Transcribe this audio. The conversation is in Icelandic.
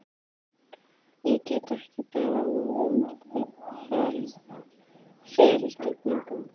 Ég get ekki beðið um fyrirgefningu.